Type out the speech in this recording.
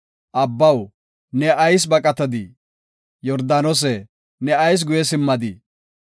Abbaw, ne ayis baqatadii? Yordaanose, ne ayis guye simmadii?